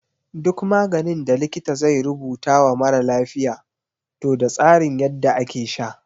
Duk maganin da likita zai rubuta wa mara lafiya toh da tsarin yadda ake sha.